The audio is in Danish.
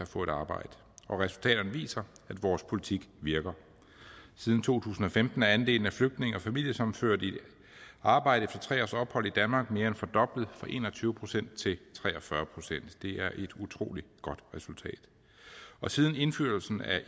få et arbejde og resultaterne viser at vores politik virker siden to tusind og femten er andelen af flygtninge og familiesammenførte i arbejde efter tre års ophold i danmark mere end fordoblet fra en og tyve procent til tre og fyrre procent det er et utrolig godt resultat siden indførelsen af